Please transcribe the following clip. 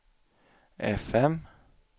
fm